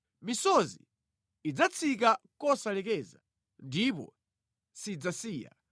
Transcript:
Misozi idzatsika kosalekeza, ndipo sidzasiya,